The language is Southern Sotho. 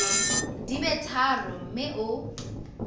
di be tharo mme o